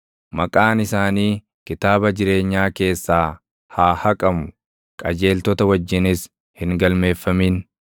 Maqaan isaanii kitaaba jireenyaa keessaa haa haqamu; qajeeltota wajjinis hin galmeeffamin.